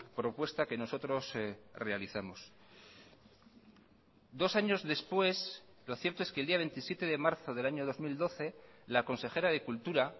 propuesta que nosotros realizamos dos años después lo cierto es que el día veintisiete de marzo del año dos mil doce la consejera de cultura